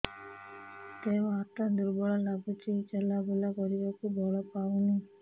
ଦେହ ହାତ ଦୁର୍ବଳ ଲାଗୁଛି ଚଲାବୁଲା କରିବାକୁ ବଳ ପାଉନି